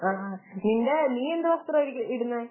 ആഹ് നിന്റെ നീയെന്ത് വസ്ത്രമാ ഇടുന്നെ